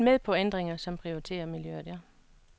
Vi er helt med på ændringer, som prioriterer miljøet.